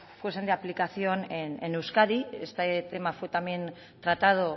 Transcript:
fuesen de aplicación en euskadi este tema fue también tratado